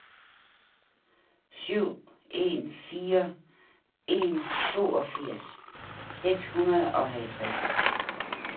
syv en fire en toogfirs seks hundrede og halvtreds